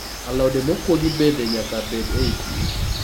Alode mokuogi bende nyaka bed ei pi